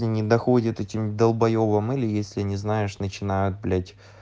и не доходит этим долбоёбам или если не знаешь начинают блять